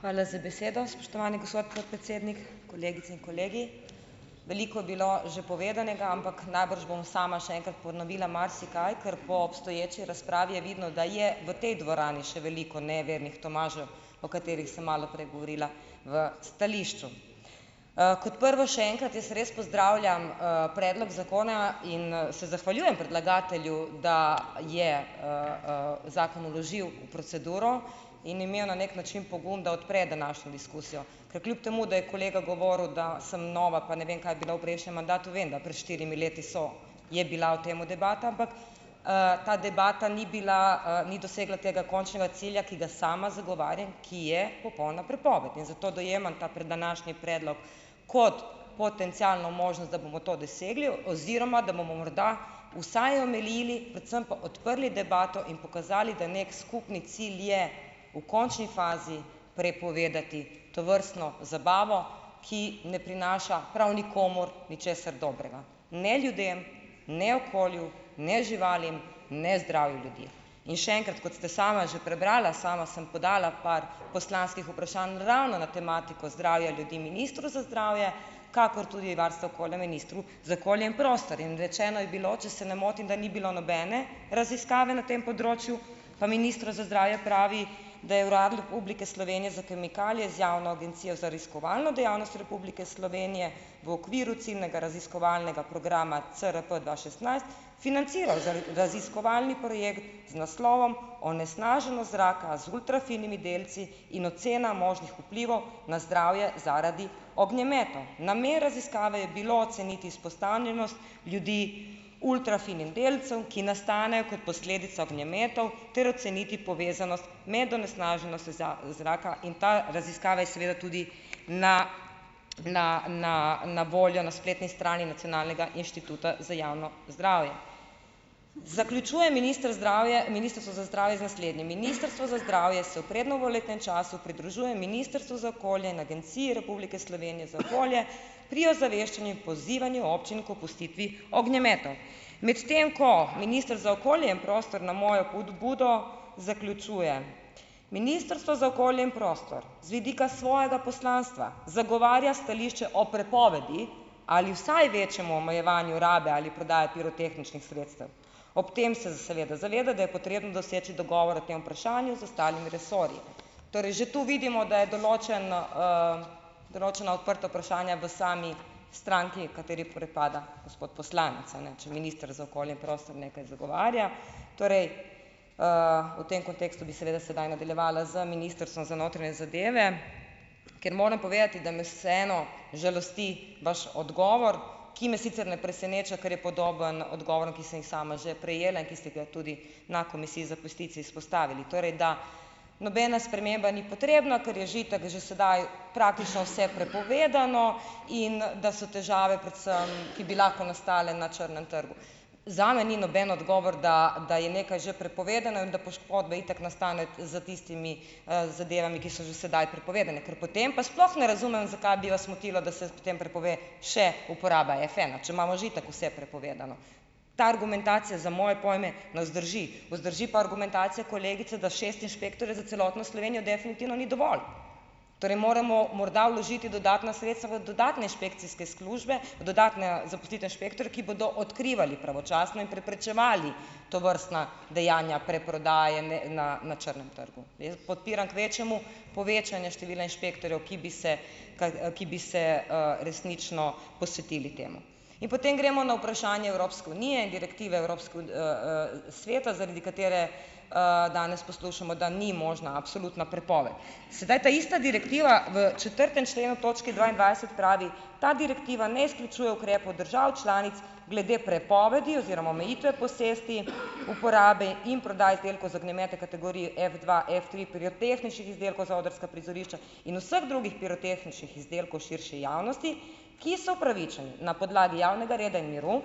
Hvala za besedo, spoštovani gospod podpredsednik, kolegice in kolegi, veliko je bilo že povedanega, ampak najbrž bom sama še enkrat ponovila marsikaj, kar po obstoječi razpravi je vidno, da je v tej dvorani še veliko nejevernih Tomažev, o katerih sem malo prej govorila v stališču, kot prvo še enkrat jaz res pozdravljam, predlog zakona in se zahvaljujem predlagatelju, da je, zakon vložil v proceduro in imel na neki način pogum, da odpre današnjo diskusijo, ker kljub temu, da je kolega govoril, da sem nova pa ne vem kaj bila v prejšnjem mandatu, vem, da pred štirimi leti so, je bila o temu debata, ampak, ta debata ni bila, ni dosegla tega končnega cilja, ki ga sama zagovarjam, ki je popolna prepoved, in zato dojemam ta današnji predlog kot potencialno možnost, da bomo to dosegli oziroma da bomo morda vsaj omilili predvsem pa odprli debato in pokazali, da neki skupni cilj je v končni fazi prepovedati tovrstno zabavo, ki ne prinaša prav nikomur ničesar dobrega, ne ljudem, ne okolju, ne živalim, ne zdravju ljudi, in še enkrat, kot ste sama že prebrala, sama sem podala par poslanskih vprašanj ravno na tematiko zdravja ljudi ministru za zdravje kakor tudi varstva okolja ministru za okolje in prostor, in rečeno je bilo, če se ne motim, da in bilo nobene raziskave na tem področju, pa minister za zdravje pravi, da je Urad Republike Slovenije za kemikalije z Javno agencijo za raziskovalno dejavnost Republike Slovenije v okviru ciljnega raziskovalnega programa CRP dva šestnajst financira za raziskovalni projekt z naslovom Onesnaženost zraka z ultrafinimi delci in ocena možnih vplivov na zdravje zaradi ognjemetov. Namen raziskave je bil oceniti izpostavljenost ljudi ultrafinim delcem, ki nastanejo kot posledica ognjemetov, ter oceniti povezanost med onesnaženostjo zraka, in ta raziskava je seveda tudi na, na, na, na voljo na spletni strani nacionalnega inštituta za javno zdravje. Zaključuje minister zdravje, ministrstvo za zdravje z naslednjimi: "Ministrstvo za zdravje se v prednovoletnem času pridružuje ministrstvu za okolje in Agenciji Republike Slovenije za okolje pri ozaveščanju in pozivanju občin k opustitvi ognjemetov, medtem ko minister za okolje na mojo pobudo," zaključuje, "ministrstvo za okolje in prostor z vidika svojega poslanstva zagovarja stališče o prepovedi ali vsaj večjemu omejevanju rabe ali prodaje pirotehničnih sredstev, ob tem se seveda zaveda, da je potrebno doseči dogovore tem vprašanju z ostalimi resorji." Torej že tu vidimo, da je določen, določena odprta vprašanja v sami stranki, kateri pripada gospod poslanec, a ne, če minister za okolje in prostor nekaj zagovarja, torej, v tem kontekstu bi seveda sedaj nadaljevala z ministrstvom za notranje zadeve, ker moram povedati, mi vseeno žalosti vaš odgovor, ki me sicer ne preseneča, kar je podobno odgovorom, ki sem jih sama že prejela in ki ste ga tudi na komisiji za peticije izpostavili, torej da nobena sprememba ni potrebna, ker je že itak že sedaj praktično vse prepovedano, in da so težave predvsem, ki bi lahko nastale na črnem trgu, zame ni noben odgovor, da, da je nekaj že prepovedano in da poškodbe itak nastanejo s tistimi, zadevami, ki so že sedaj prepovedane, ker potem pa sploh ne razumem, zakaj bi jaz motila, da se potem prepove še uporaba Fena, če imamo že itak vse prepovedano, ta argumentacija za moje pojme ne zdrži, pa zdrži pa argumentacija kolegice da šest inšpektorjev za celotno Slovenijo definitivno ni dovolj, torej moramo morda vložiti dodatna sredstva v dodatne inšpekcijske službe, dodatne zaposliti inšpektorje, ki bodo odkrivali pravočasno in preprečevali tovrstna dejanja preprodaje, ne, na, na črnem trgu, jaz podpiram kvečjemu povečanje števila inšpektorjev, ki bi se, kaj, ki bi se, resnično posvetili temu, in potem gremo na vprašanje Evropske unije in direktive evropske sveta, zaradi katere, danes poslušamo, da ni možna absolutna prepoved, sedaj, ta ista direktiva v četrtem členu točke dvaindvajset pravi: "Ta direktiva ne izključuje ukrepov držav članic glede prepovedi oziroma omejitve posesti uporabe in prodaje izdelkov za ognjemete kategorije Fdva, Ftri pirotehničnih izdelkov za odrska prizorišča in vseh drugih pirotehničnih izdelkov širše javnosti, ki so upravičeni na podlagi javnega reda in miru."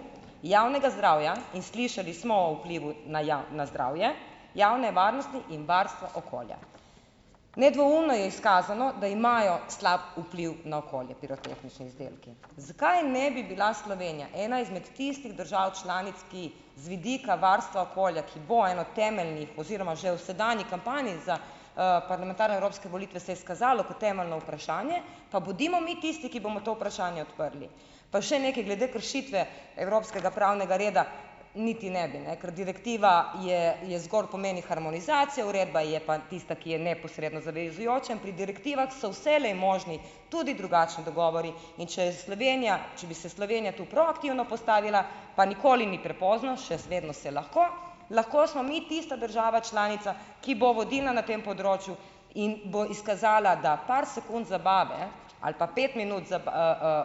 Javnega zdravja in slišali smo o vplivu na na zdravje javne varnosti in varstva okolja, nedvoumno je izkazano, da imajo slab vpliv na okolje pirotehnični izdelki, zakaj ne bi bila Slovenija ena izmed tistih držav članic, ki z vidika varstva okolja, ki bo eno temeljnih, oziroma že v sedanji kampanji za, parlamentarne evropske volitve se je izkazalo to temeljno vprašanje, pa bodimo mi tisti, ki bomo to vprašanje odprli, pa še nekaj glede kršitve evropskega reda pravnega niti ne bi, ne, ker direktiva je, je zgolj pomeni harmonizacija, uredba je pa tista, ki je neposredno zavezujoča, in pri direktivah so vselej možni tudi drugačni dogovori, in če je Slovenije, če bi se Slovenija tu proaktivno postavila, pa nikoli ni prepozno še zmerom se lahko, lahko smo mi tista država članica, ki bo vodilna na tem področju in bo izkazala, da par sekund zabave ali pa pet minut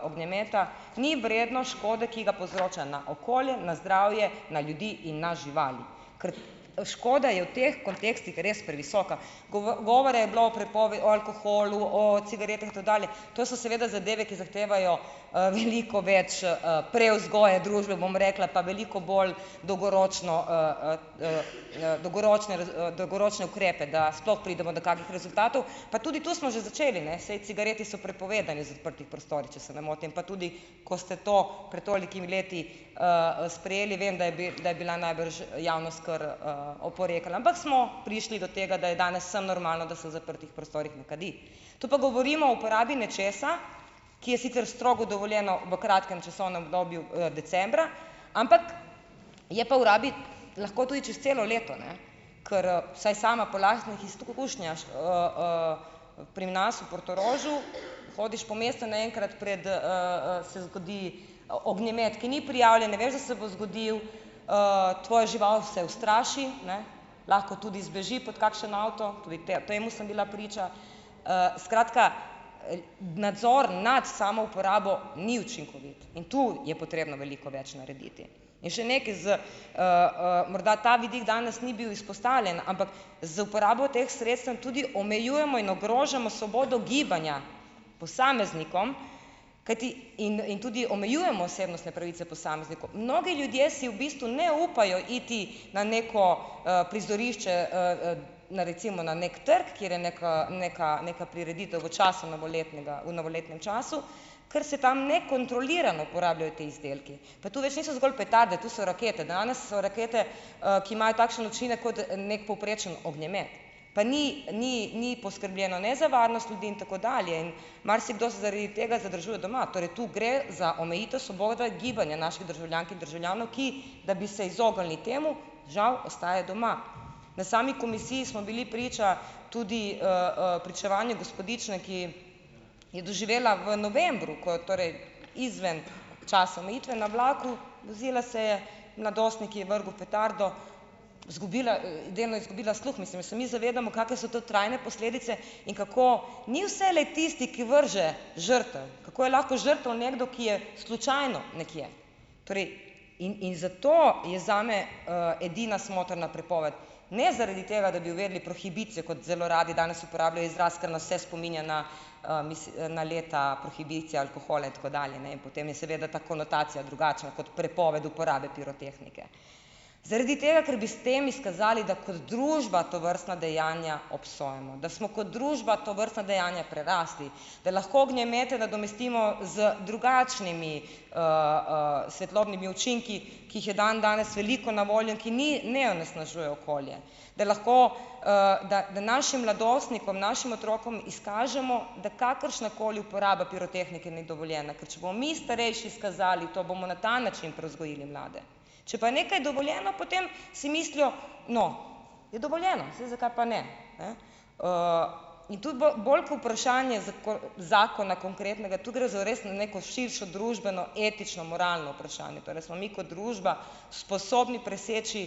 ognjemeta ni vredno škode, ki ga povzroča na okolje na zdravje na ljudi in na živali, ker škoda je v teh kontekstih res previsoka, govora je bilo o o alkoholu, o cigaret in tako dalje, to so seveda zadeve, ki zahtevajo, veliko več, prevzgoje družbe, bom rekla, pa veliko bolj dolgoročno, dolgoročne dolgoročne ukrepe, da sploh pridemo do kakih rezultatov, pa tudi to smo že začeli, ne, saj cigareti so prepovedani z odprtih prostorih, če se ne motim, pa tudi ko ste to pred tolikimi leti, sprejeli vem, da je da je bila najbrž javnost kar, oporekala, ampak smo prišli do tega, da je danes vsem normalno, da se v zaprtih prostorih ne kadi, tu pa govorimo o uporabi nečesa, ki je sicer strogo dovoljeno v kratkem časovnem obdobju, decembra, ampak je pa v rabi lahko tudi čez celo leto, ne, ker r saj sama po lastnih izkušnjah, pri nas v Portorožu hodiš po mestu naenkrat pred, se zgodi ognjemet, ki ni prijavljen, ne veš, da se bo zgodil, tvoja žival se ustraši, ne, lahko tudi zbeži pod kakšen avto, tudi temu sem bila priča, skratka, nadzor nad samo uporabo ni učinkovit in tu je potrebno veliko več narediti in še nekaj z, morda ta vidik danes ni bil izpostavljen, ampak z uporabo teh sredstev tudi omejujemo in ogrožamo svobodo gibanja posameznikom, kajti in in tudi omejujemo osebnostne pravice posameznikov, mnogi ljudje si v bistvu ne upajo iti na neko, prizorišče, na recimo na neki trg, kjer je neka neka, neka prireditev v času novoletnega, v novoletnem času, ker se tam nekontrolirano porabljajo ti izdelki, pa tu več niso zgolj petarde, to so rakete danes so rakete, ki imajo takšen učinek kot neki povprečen ognjemet, pa ni, ni, ni poskrbljeno ne za varnost ljudi in tako dalje in marsikdo se zaradi tega zadržuje doma, torej tu gre za omejitev svobode gibanja naših državljank in državljanov, ki, da bi se izognili temu, žal ostajajo doma, na sami komisiji smo bili priča tudi, pričevanju gospodične, ki je doživela v novembru, ko je torej izven časa omejitve na vlaku, vozila se je, mladostnik ji je vrgel petardo, zgubila, delno je izgubila sluh, mislim, a se mi zavedamo, kake so to trajne posledice in kako ni vselej tisti, ki vrže, žrtev, kako je lahko žrtev nekdo, ki je slučajno nekje, torej in, in zato je zame, edina smotrna prepoved, ne zaradi tega, da bi uvedli prohibicijo, kot zelo radi danes uporabljajo izraz, ker nas se spominja na, na leta prohibicije alkohola in tako dalje, ne, in potem je seveda ta konotacija drugače kot prepoved uporabe pirotehnike, zaradi tega, ker bi s tem izkazali, da kot družba tovrstna dejanja obsojamo, da smo kot družba tovrstna dejanja prerasli, da lahko ognjemete nadomestimo z drugačnimi, svetlobnimi učinki, ki jih je dandanes veliko na voljo in ki ni ne onesnažujejo okolje, da lahko, da, da našim mladostnikom, našim otrokom izkažemo, da kakršnakoli uporaba pirotehnike ni dovoljena, ker če bomo mi starejši izkazali to, bomo na ta način prevzgojili mlade, če pa nekaj dovoljeno, potem si mislijo, no, je dovoljeno, saj zakaj pa ne, ne, tudi bolj ko vprašanje zakona konkretnega tu gre za res na neko širšo družbeno etično-moralno vprašanje, torej smo mi kot družba sposobni preseči,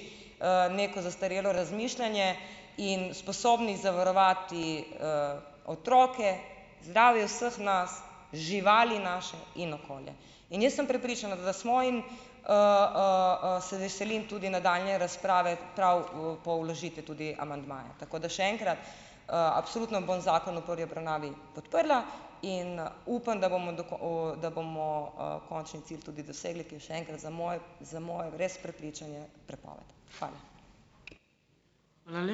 neko zastarelo razmišljanje in sposobni zavarovati, otroke, zdravje vseh nas, živali naše in okolje, in jaz sem prepričana, da smo in, se veselim tudi nadaljnje razprave prav v po vložitvi tudi amandmaja, tako da še enkrat, absolutno bom zakon v prvi obravnavi podprla in upam, da bomo do ko da bomo, končni cilj tudi dosegli, ki je še enkrat, za moj, za moje res prepričanje prepoved. Hvala.